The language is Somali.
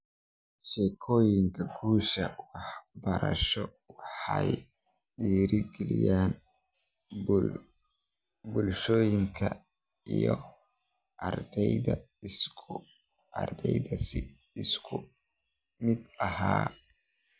Sheekooyinka guusha waxbarasho waxay dhiirigeliyaan bulshooyinka iyo ardayda si isku mid ah.